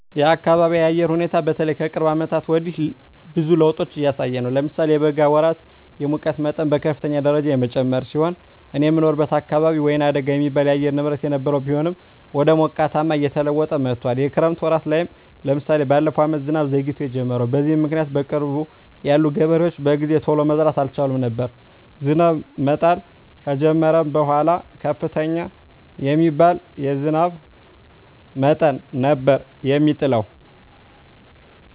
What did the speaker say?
የአካቢየ የአየር ሁኔታ በተለይ ከቅርብ አመታት ወዲህ ብዙ ለዉጦች እያሳየ ነው። ለምሳሌ የበጋ ወራት የሙቀት መጠን በከፍተኛ ደረጃ የጨመረ ሲሆን እኔ የምኖርበት አካባቢ ወይናደጋ የሚባል የአየር ንብረት የነበረው ቢሆንም ወደ ሞቃታማነት እየተለወጠ መጥቶአል። የክረምት ወራት ላይም ለምሳሌ በለፈው አመት ዝናብ ዘግይቶ የጀመረው። በዚህም ምክኒያት በቅርብ ያሉ ገበሬዎች በጊዜ ቶሎ መዝራት አልቻሉም ነበር። ዝናብ መጣል ከጀመረም በኃላ ከፍተኛ የሚባል የዝናብ መጠን ነበር የሚጥለው።